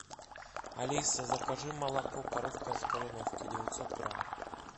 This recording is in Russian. алиса закажи молоко коровка из кореновки девятьсот грамм